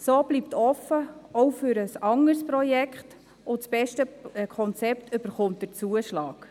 So bleibt es offen, auch für ein anderes Projekt, und das beste Konzept erhält den Zuschlag.